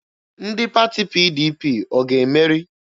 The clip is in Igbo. Ndị pati PDP ọ ga-emeri?